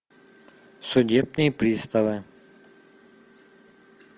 судебные приставы